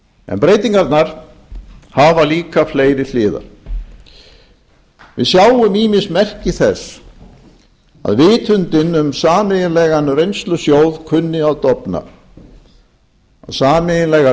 en breytingarnar hafa líka fleiri hliðar við sjáum ýmis merki þess að vitundin um sameiginlegan reynslusjóð kunni að dofna að sameiginlegar